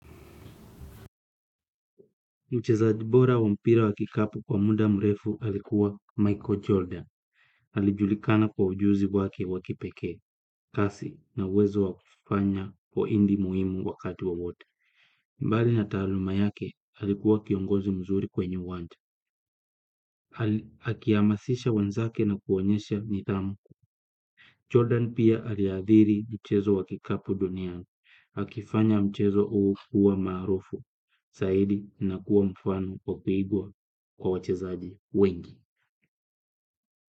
Mchezaji bora wa mpira wa kikapu kwa muda mrefu alikuwa Michael Jordan. Alijulikana kwa ujuzi wake wa kipekee, kasi na uwezo wa kufanya pointi muhimu wakati wowote. Mbali na taaluma yake alikuwa kiongozi mzuri kwenye uwanja. Akihamasisha wenzake na kuonyesha nidhamu. Jordan pia aliathiri mchezo wa kikapu duniani. Akifanya mchezo huu kuwa maarufu zaidi na kuwa mfano wa kuigwa kwa wachezaji wengi.